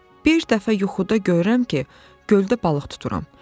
Bir dəfə yuxuda görürəm ki, göldə balıq tutururam.